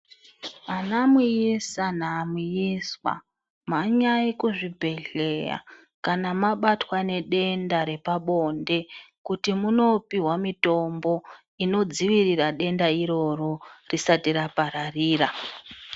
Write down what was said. Vana muisa namuiswa mhanyai kuzvibhehlera kana mabatwa nedenda repabonde kuti munopihwa mitombo inodzivirira denda iroro risati rapararira.